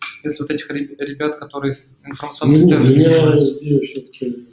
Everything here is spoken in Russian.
смотрите ребята которые информационную делаю все таки